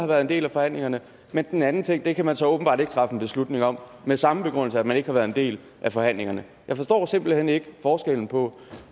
været en del af forhandlingerne men den anden ting kan man så åbenbart ikke træffe en beslutning om med samme begrundelse altså at man ikke har været en del af forhandlingerne jeg forstår simpelt hen ikke forskellen på